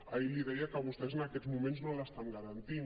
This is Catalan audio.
ahir li deia que vostès en aquests moments no l’estan garantint